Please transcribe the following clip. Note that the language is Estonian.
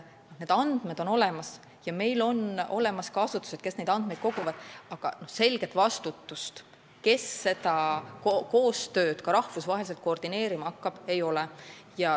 Need andmed on olemas ja meil on olemas asutused, kes neid andmeid koguvad, aga selget vastutajat, kes seda koostööd ka rahvusvaheliselt koordineerima hakkab, ei ole.